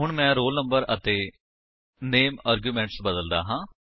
ਹੁਣ ਮੈਂ roll number ਅਤੇ ਨਾਮੇ ਅਰਗਿਉਮੇਂਟ ਬਦਲਦਾ ਹਾਂ